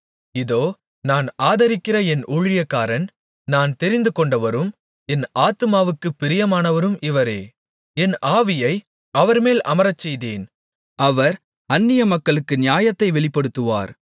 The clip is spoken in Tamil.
இதோ நான் ஆதரிக்கிற என் ஊழியக்காரன் நான் தெரிந்துகொண்டவரும் என் ஆத்துமாவுக்குப் பிரியமானவரும் இவரே என் ஆவியை அவர்மேல் அமரச்செய்தேன் அவர் அந்நியமக்களுக்கு நியாயத்தை வெளிப்படுத்துவார்